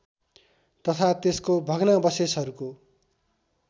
तथा त्यसको भग्नावशेषहरूको